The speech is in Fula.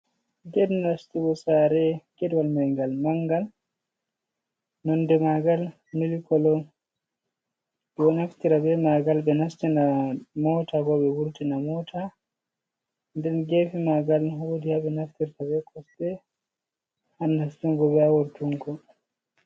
Ged nastugo saare, gedwal mai ngal mangal. Nonde maagal mili koolo, ɓe ɗo naftira be maangal ɓe nastina moota ko ɓe vurtina moota. Nden geefe maangal woodi ha ɓe naftirta be kosɗee ha nastungo be wurtungo.